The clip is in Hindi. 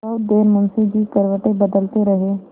बहुत देर मुंशी जी करवटें बदलते रहे